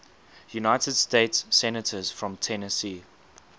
united states senators from tennessee